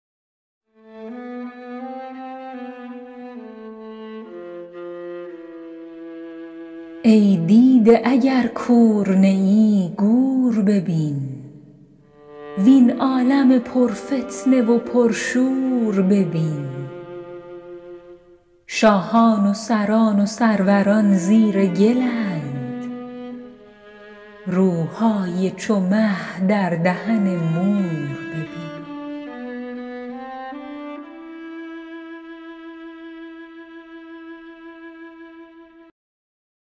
ای دیده اگر کور نیی گور ببین وین عالم پر فتنه و پر شور ببین شاهان و سران و سروران زیر گلند روهای چو مه در دهن مور ببین